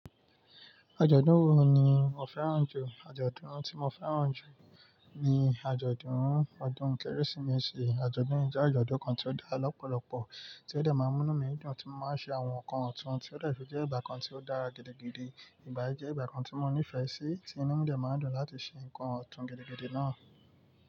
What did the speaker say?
Àjọ̀dún wo ni o fẹ́ràn jù? Àjọ̀dún tí mo fẹ́ràn jù ni àjọ̀dún ọdún Kérésìmesì. Àjọ̀dún yìí jẹ́ àjọ̀dún kan tí ó dá lọ́pọ̀lọ́pọ̀, tí ó dà máa ń mú mí dùn, tí mo máa ń ṣe àwọn nǹkan ọ̀tún tí ó detun jẹ́ ìgbà kan tí ó dára gidigidi. Ìgbà yìí jẹ́ ìgbà kan tí mo nífẹ̀ẹ́ sí, tí inu mi dẹ maa ń dùn láti ṣe nǹkan ọ̀tún gidigidi náà.